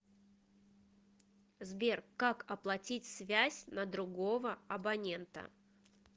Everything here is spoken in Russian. сбер как оплатить связь на другого абонента